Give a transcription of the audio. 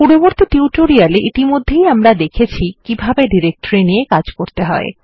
পূর্ববর্তী টিউটোরিয়াল এ ইতিমধ্যে আমরা দেখেছি কিভাবে ডিরেক্টরি নিয়ে কাজ করতে হয়